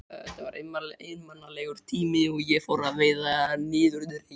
Þetta var einmanalegur tími og ég fór að verða niðurdregin.